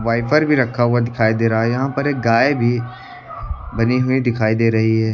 Wiper भी रखा हुआ दिखाई दे रहा है यहां पर एक गाय भी बनी हुई दिखाई दे रही है।